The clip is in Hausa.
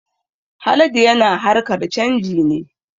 Haladu yana harkar canji ne